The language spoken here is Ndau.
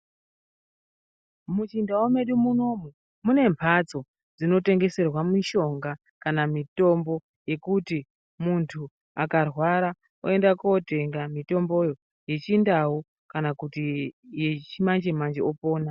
Muchindau medu munomu munemhatso dzinotengeserwa mishonga kana mitombo yekuti muntu akarwara oenda kotenga mitomboyo yechindau. Kana kuti yechimanje-manje opona.